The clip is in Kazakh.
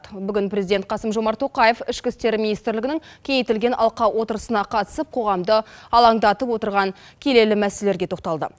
бүгін президент қасым жомарт тоқаев ішкі істер министрлігінің кеңейтілген алқа отырысына қатысып қоғамды алаңдатып отырған келелі мәселелерге тоқталды